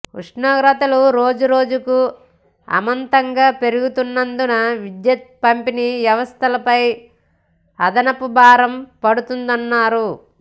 ఉష్ణోగ్రతలు రోజురోజుకూ అమాంతంగా పెరుగుతున్నందున విద్యుత్ పంపిణీ వ్యవస్థపై అదనపు భారం పడుతోందన్నారు